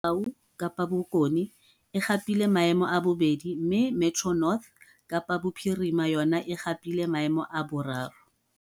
Kapa Bokone, e gapile maemo a bobedi mme Metro North, Kapa Bophirima, yona e gapile maemo a boraro.